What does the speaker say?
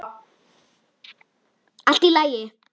Allt í lagi!